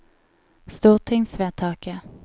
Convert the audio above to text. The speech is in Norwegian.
stortingsvedtaket